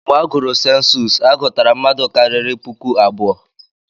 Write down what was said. Mgbe agụrụ sensus, a gụtara mmadụ karịrị puku abụọ.